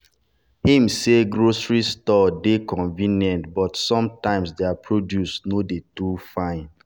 him say grocery store dey convenient but sometimes their produce no dey too fine.